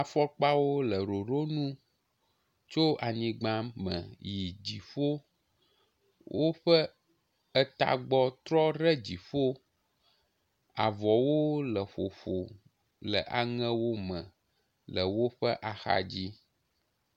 Afɔkpawo le ɖoɖonu tso anyigba me yi dziƒo, woƒe etagbɔ trɔ ɖe dziƒo. avɔwo le ƒoƒo le aŋewo me le woƒe axadzi.